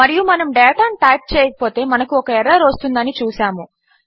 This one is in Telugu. మరియు మనము డేటాను టైప్ చేయకపోతే మనకు ఒక ఎర్రర్ వస్తుందని చూసాము